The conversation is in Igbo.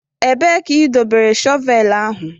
Ebee ka ị dobere shọvel ahụ?